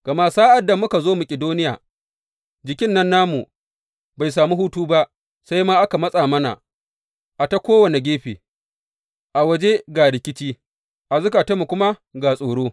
Gama sa’ad da muka zo Makidoniya, jikin nan namu bai sami hutu ba, sai ma aka matsa mana a ta kowane gefe, a waje ga rikici, a zukatanmu kuma ga tsoro.